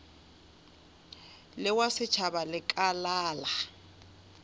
le wa setšhaba lekala la